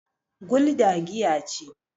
gulda giya ce